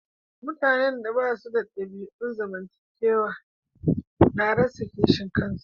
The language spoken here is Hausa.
Mutane da ba su da dabi'un zamantakewa na rasa kishin kasa.